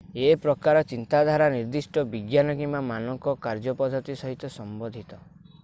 ଏ ପ୍ରକାର ଚିନ୍ତାଧାରା ନିର୍ଦ୍ଦିଷ୍ଟ ବିଜ୍ଞାନ କିମ୍ବା ମାନକ କାର୍ଯ୍ୟପଦ୍ଧତି ସହିତ ସମ୍ବନ୍ଧିତ